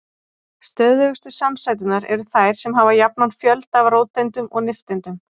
Stöðugustu samsæturnar eru þær sem hafa jafnan fjölda af róteindum og nifteindum.